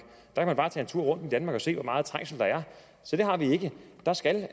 man kan bare tage en tur rundt i danmark og se hvor meget trængsel der er så det har vi ikke der skal